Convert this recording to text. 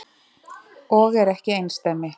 Og er ekki einsdæmi.